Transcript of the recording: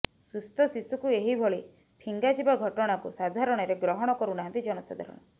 ସୁସ୍ଥ ଶିଶୁକୁ ଏହିଭଳି ଫିଙ୍ଗାଯିବା ଘଟଣାକୁ ସାଧାରଣରେ ଗ୍ରହଣ କରୁନାହାନ୍ତି ଜନସାଧାରଣ